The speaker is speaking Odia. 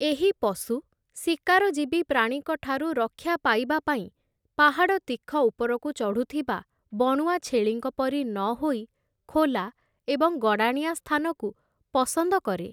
ଏହି ପଶୁ, ଶିକାରଜୀବୀ ପ୍ରାଣୀଙ୍କଠାରୁ ରକ୍ଷା ପାଇବାପାଇଁ ପାହାଡ଼ ତୀଖ ଉପରକୁ ଚଢ଼ୁଥିବା ବଣୁଆ ଛେଳିଙ୍କ ପରି ନହୋଇ ଖୋଲା ଏବଂ ଗଡ଼ାଣିଆ ସ୍ଥାନକୁ ପସନ୍ଦ କରେ ।